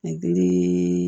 Hakili